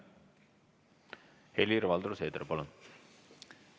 Helir-Valdor Seeder, palun!